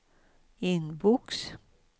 inbox